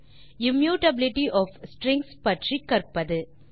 immutability of strings பற்றி கற்பது